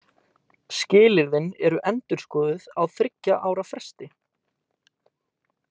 Skilyrðin eru endurskoðuð á þriggja ára fresti.